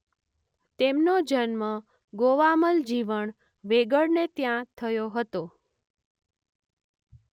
તેમનો જન્મ ગોવામલ જીવણ વેગડને ત્યાં થયો હતો.